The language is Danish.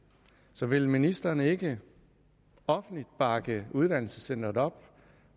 så vil ministeren ikke offentligt bakke uddannelsescenteret op